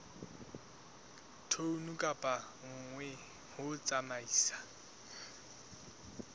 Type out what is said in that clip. tone ka nngwe ho tsamaisa